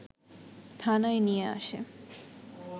থানায় নিয়ে আসে